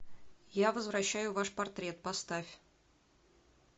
я возвращаю ваш портрет поставь